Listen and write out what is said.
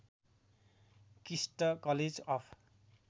KIST college of